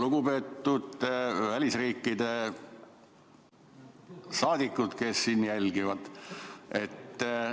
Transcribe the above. Lugupeetud välisriikide saadikud, kes istungit jälgivad!